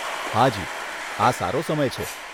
હાજી, આ સારો સમય છે.